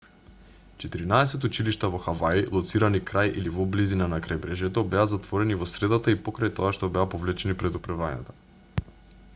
четиринаесет училишта во хаваи лоцирани крај или во близина на крајбрежјето беа затворени во средата и покрај тоа што беа повлечени предупредувањата